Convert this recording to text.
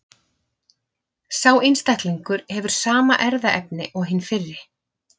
Sá einstaklingur hefur sama erfðaefni og hinn fyrri.